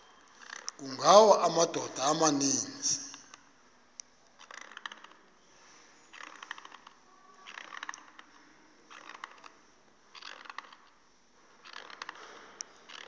kungawa amadoda amaninzi